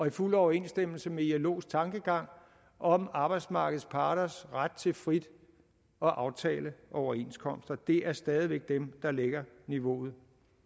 i fuld overensstemmelse med ilos tankegang om arbejdsmarkedets parters ret til frit at aftale overenskomster det er stadig væk dem der lægger niveauet